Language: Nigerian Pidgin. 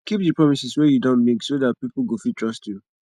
keep di promises wey you don make so dat pipo go fit trust you